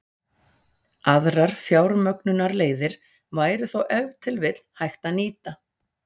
Aðrar fjármögnunarleiðir væri þó ef til vill hægt að nýta.